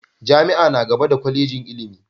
Jami'a na gaba da Kwallejin ilimi.